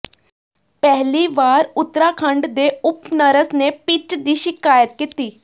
ਪਹਿਲੀ ਵਾਰ ਉੱਤਰਾਖੰਡ ਦੇ ਓਪਨਰਸ ਨੇ ਪਿੱਚ ਦੀ ਸ਼ਿਕਾਇਤ ਕੀਤੀ